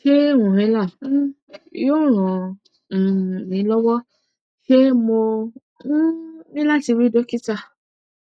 ṣé inhaler um yóò ran um mi lọwọ ṣé mo um ní láti rí dókítà